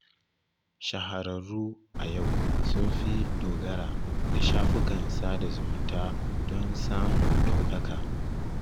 Shahararru a yau sun fi dogara da shafukan sada zumunta don samun ɗaukaka